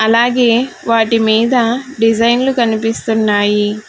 అలాగే వాటి మీద డిజైన్లు కనిపిస్తున్నాయి.